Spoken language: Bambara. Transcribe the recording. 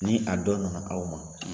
Ni a dɔ nana aw ma